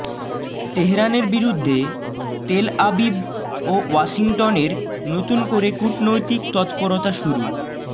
তেহরানের বিরুদ্ধে তেলআবিব ও ওয়াশিংটনের নতুন করে কূটনৈতিক তৎপরতা শুরু